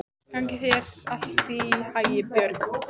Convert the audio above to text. Gangi þér allt í haginn, Björg.